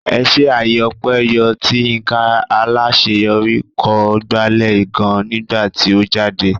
Ẹṣé àyè ọpẹ yọ tí Yinka Alaṣeyori kọ gbalẹ̀ gan nígbà tí ó jáde.